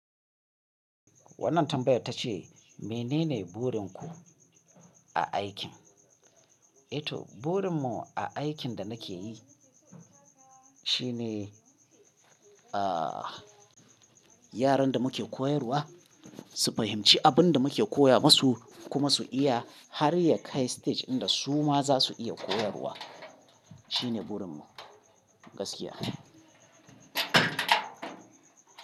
Wannan tambayar ta ce menene burin ku a aikin? To burin mu a aikin da nake yi shine, ah yaran da muke koyarwa su fahimci abin da muke koya masu kuma su iya har ya kai stage inda su ma za su iya koyarwa shine burin mu gaskiya.